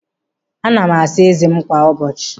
Ana m asa ezé m kwa ụbọchị.